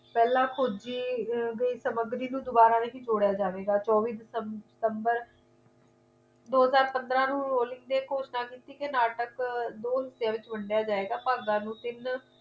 ਪਹਿਲੇ ਖੋਜੀ ਆਹ ਗਈ ਸਮੱਗਰੀ ਨੂੰ ਦੁਬਾਰਾ ਨਹੀਂ ਜੋੜਿਆ ਜਾਵੇਗਾ ਚੌਬੀ december ਦੋ ਹਜ਼ਾਰ ਪੰਦਰਾਂ ਨੂੰ rolling ਨੇ ਘੋਸ਼ਣਾ ਕੀਤੀ ਕੇ ਨਾਟਕ ਦੋ ਹਿੱਸਿਆਂ ਦੇ ਵਿਚ ਵੰਡਿਆ ਜਾਵੇਗਾ ਭਾਗਾਂ ਨੂੰ ਤਿੰਨ